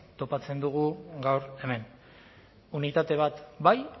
topatzen dugu gaur hemen unitate bat bai